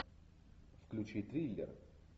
включи триллер